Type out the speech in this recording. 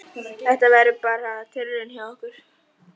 Þetta verður bara tilraun hjá okkur.